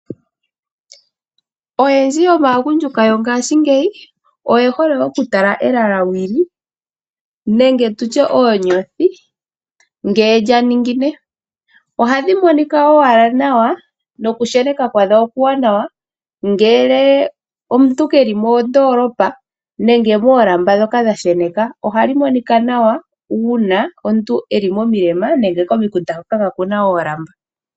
Oyendji yomaagundjuka yongaashingeyi oye hole oku tala elalawili nenge tutye oonyothi ngele lya ningine. Ohadhi monika owala nawa nokusheneka kwadho okuwanawa ngele omuntu keli moondoolopa nenge moolamba ndhoka dha sheneka, ohadhi monika nawa uuna omuntu eli momilema nenge komikunda hoka kaakuna oolamba.